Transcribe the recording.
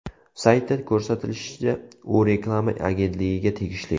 Saytda ko‘rsatilishicha, u reklama agentligiga tegishli.